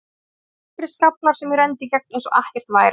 Það voru bara nokkrir skaflar sem ég renndi í gegnum eins og ekkert væri.